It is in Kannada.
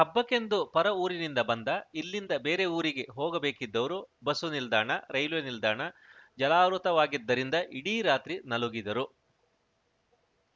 ಹಬ್ಬಕ್ಕೆಂದು ಪರ ಊರಿನಿಂದ ಬಂದ ಇಲ್ಲಿಂದ ಬೇರೆ ಊರಿಗೆ ಹೋಗಬೇಕಿದ್ದವರು ಬಸ್ಸು ನಿಲ್ದಾಣ ರೈಲ್ವೆ ನಿಲ್ದಾಣ ಜಲಾವೃತವಾಗಿದ್ದರಿಂದ ಇಡೀ ರಾತ್ರಿ ನಲುಗಿದರು